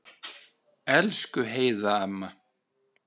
Elsku Heiða amma.